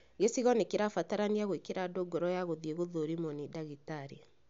Gĩcigo nĩ kĩrabatarania gwĩkĩra andũ ngoro ya gũthiĩ gũthũrimwo ni ndagĩtarĩ